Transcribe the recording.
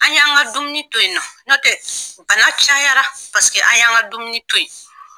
An y'an ka dumuni to yen nɔ n'ɔ tɛ bana cayara paseke an y'an ka dumuni to ye.